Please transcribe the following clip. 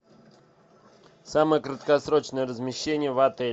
самое краткосрочное размещение в отеле